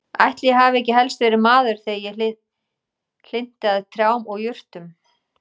Ætli ég hafi ekki helst verið maður þegar ég hlynnti að trjám og jurtum.